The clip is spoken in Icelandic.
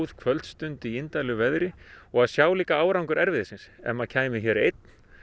kvöldstund í veðri og að sjá líka árangur erfiðis síns ef maður kæmi hér einn